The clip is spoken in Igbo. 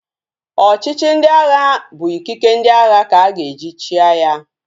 Ọchịchị ndị agha bụ ikike ndị agha ka-aga eji chịa ya